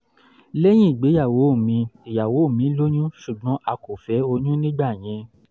lẹ́yìn ìgbéyàwó mi ìyàwó mi lóyún ṣùgbọ́n a kò fẹ́ oyún nígbà yẹn